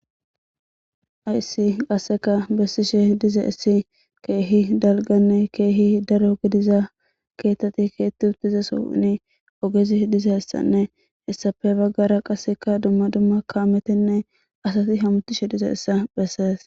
Ayissi qasseka bessishe diza issi keehi dalganne keehi daro gidiza keetteti keetti utizaso ni ogezi dizaessanne hessafe baggara qasseka dumma dumma kaametenne asati hamutishe diza issa bessees